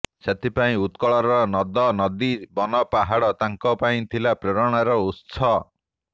ସେଥିପାଇଁ ଉତ୍କଳର ନଦ ନଦୀ ବନପାହାଡ଼ ତାଙ୍କ ପାଇଁ ଥିଲା ପ୍ରେରଣାର ଉତ୍ସ